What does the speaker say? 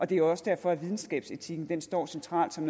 det er også derfor videnskabsetikken står centralt som